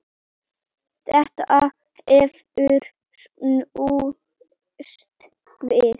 Þetta hefur snúist við.